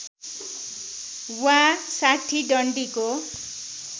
वा ६० डन्डीको